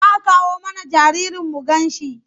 Za a kawo mana jaririn mu ganshi?